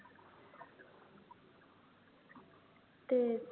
तेच